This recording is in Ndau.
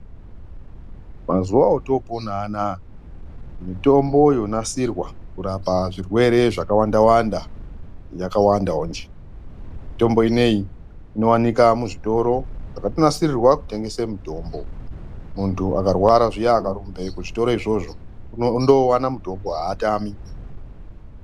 Mazuva oto pona anaya mitombo yo nasirwa kurapa zvirwere zvaka wanda wanda yaka wandawo nji mitombo ineyi ino wanikwa mu zvitoro zvakato nasirirwa kutengese mutombo muntu akarwara zviya aka rumbe ku zvitoro izvozvo unondo wana mutombo haatami.